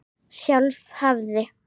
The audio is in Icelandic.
Sjálf hafði